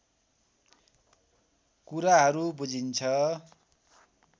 कुराहरू बुझिन्छ